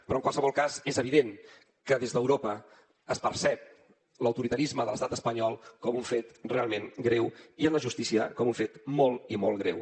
però en qualsevol cas és evident que des d’europa es percep l’autoritarisme de l’estat espanyol com un fet realment greu i en la justícia com un fet molt i molt greu